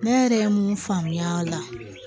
Ne yɛrɛ ye mun faamuya a la